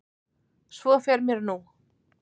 Svo fer mér nú.